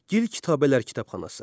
Gil kitabələr kitabxanası.